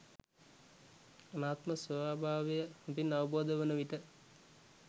අනාත්ම ස්වභාවය හොඳින් අවබෝධ වන විට